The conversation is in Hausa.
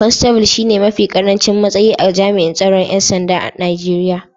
constable shine mafi karancin matsayi a jami'in tsaron ‘yan sandan Najeriya.